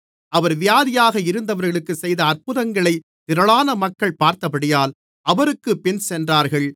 அவர் வியாதியாக இருந்தவர்களுக்கு செய்த அற்புதங்களைத் திரளான மக்கள் பார்த்தபடியால் அவருக்குப் பின் சென்றார்கள்